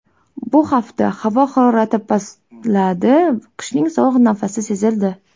Bu hafta havo harorati pastladi, qishning sovuq nafasi sezildi .